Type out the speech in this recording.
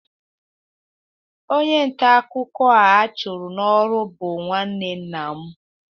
onye nta akụkọ a chụrụ n'ọrụ bụ nwanne nna m.